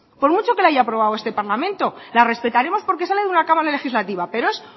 por mucho que la hay aprobado este parlamento la respetaremos porque sale de una cámara legislativa pero es